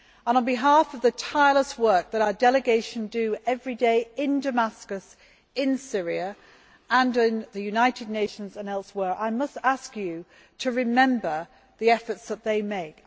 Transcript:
On behalf of the tireless work that our delegation does every day in Damascus in Syria, and in the United Nations and elsewhere, I must ask them to remember the efforts they make.